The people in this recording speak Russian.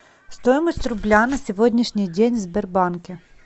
стоимость рубля на сегодняшний день в сбербанке